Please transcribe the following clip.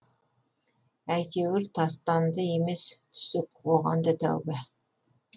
әйтеуір тастанды емес түсік оған да тәуба